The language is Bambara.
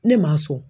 Ne ma so